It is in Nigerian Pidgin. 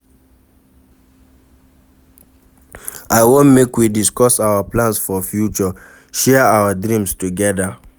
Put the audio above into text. I wan make we discuss our plans for future, share our dreams togeda.